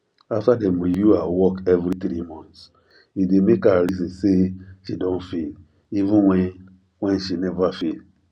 after dem review her work every 3 months e dey make her reason say she don fail even when when she never fail